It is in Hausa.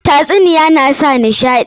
Tatsuniyoyi na sa nishaɗi.